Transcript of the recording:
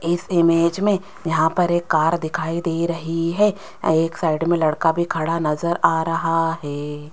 इस इमेज में यहां पर एक कार दिखाई दे रही है। एक साइड में लड़का भी खड़ा नजर आ रहा है।